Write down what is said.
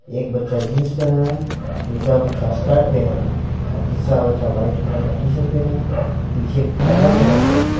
एक बच्चा जींस पहना है दूसरा बच्चा स्कर्ट पहना है और तीसरा बच्चा वाइट कलर का टी_शर्ट पेहना है पीछे पर्दा लगा हुआ है।